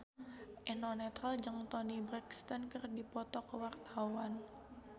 Eno Netral jeung Toni Brexton keur dipoto ku wartawan